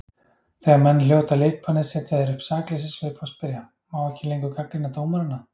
Þegar menn hljóta leikbannið setja þeir upp sakleysissvip og spyrja: Má ekki lengur gagnrýna dómarana?